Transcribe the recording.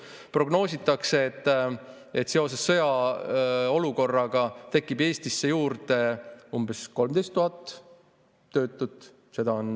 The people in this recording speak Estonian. Aga Meelis Paavel on komisjonis välja öelnud, et seoses sõjaolukorraga tekib Eestisse juurde umbes 13 000 töötut.